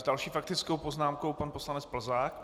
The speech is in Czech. S další faktickou poznámkou pan poslanec Plzák.